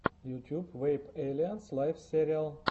ютуб вэйп эйлианс лайв сериал